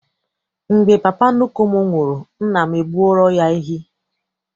Mgbe papa nnukwu m nwụrụ, nna m gbuoro ya ehi.